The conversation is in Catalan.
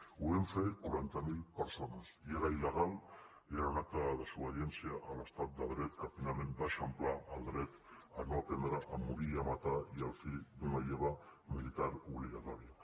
ho vam fer quaranta mil persones i era il·legal i era un acte de desobediència a l’estat de dret que finalment va eixamplar el dret a no aprendre a morir i a matar i el fi d’una lleva militar obligatòria